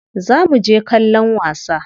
Za muje kallon wasa.